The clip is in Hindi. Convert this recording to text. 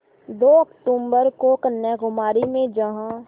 दो अक्तूबर को कन्याकुमारी में जहाँ